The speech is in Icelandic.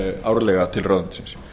árlega til ráðuneytisins